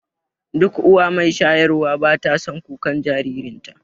Duk uwa mai shayarwa bata son kukan jaririnta